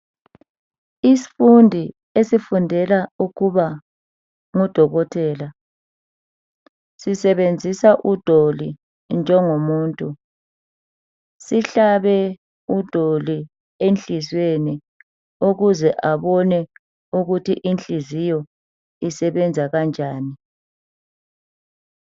Isifundi esifundela ukuba ngudokotela sisebenzisa udoli njengomuntu. Sihlabe udoli enhliziyweni ukuze abone ukuthi inhliziyo isebenza kanjani.